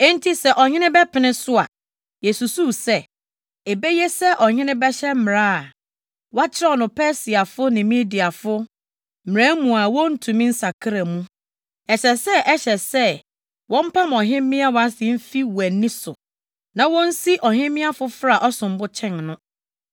“Enti sɛ ɔhene bɛpene so a, yesusuw sɛ, ebeye sɛ ɔhene bɛhyɛ mmara a wɔakyerɛw no Persiafo ne Mediafo mmara mu a wontumi nsakra mu. Ɛsɛ sɛ ɛhyɛ sɛ wɔmpam ɔhemmea Wasti mfi wʼani so, na wonsi ɔhemmea foforo a ɔsom bo kyɛn no.